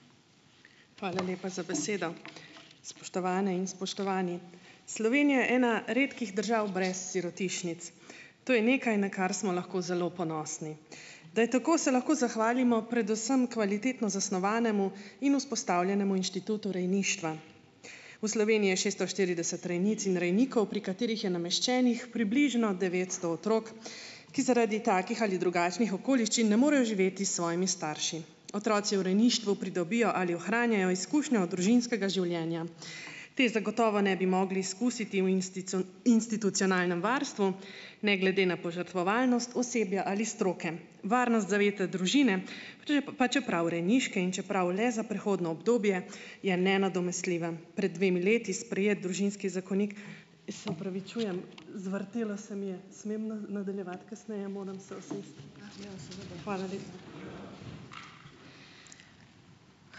Hvala lepa za besedo. Spoštovane in spoštovani! Slovenija je ena redkih držav brez sirotišnic. To je nekaj, na kar smo lahko zelo ponosni. Da je tako, se lahko zahvalimo predvsem kvalitetno zasnovanemu in vzpostavljenemu inštitutu rejništva. V Sloveniji je šeststo štirideset rejnic in rejnikov, pri katerih je nameščenih približno devetsto otrok, ki zaradi takih ali drugačnih okoliščin ne morejo živeti s svojimi starši. Otroci v rejništvu pridobijo ali ohranjajo izkušnjo družinskega življenja. Te zagotovo ne bi mogli izkusiti v institucionalnem varstvu, ne glede na požrtvovalnost osebja ali stroke. Varnost zavetja družine, če je pa, čeprav rejniške in čeprav le za prehodno obdobje, je nenadomestljiva. Pred dvemi leti sprejet družinski zakonik - se opravičujem, zvrtelo se mi je. Smem nadaljevati kasneje? Moram se usesti. Hvala lepa.